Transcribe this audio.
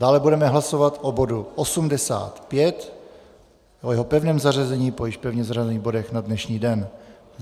Dále budeme hlasovat o bodu 85 o jeho pevném zařazení po již pevně zařazených bodech na dnešní den.